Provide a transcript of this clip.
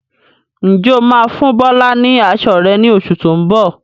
Ǹjẹ́ o máa fún Bọlá ni aṣọ rẹ ni oṣù tó ń bọ̀?